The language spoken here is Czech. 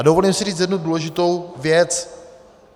A dovolím si říct jednu důležitou věc.